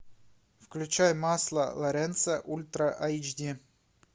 включай масло лоренцо ультра айч ди